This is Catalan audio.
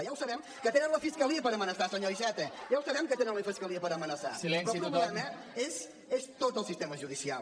ja ho sabem que tenen la fiscalia per amenaçar senyor iceta ja ho sabem que tenen la fiscalia per amenaçar però el problema és tot el sistema judicial